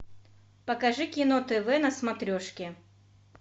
покажи кино тв на смотрешке